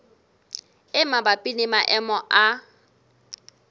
e mabapi le maemo a